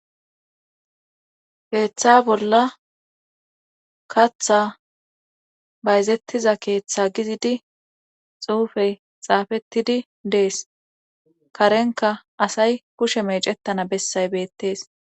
Keeththa bolla kaththa bayzettiza keeththa gizidi xuufey xaafettidi dees karenka asay kushe meecettana bessay beettees.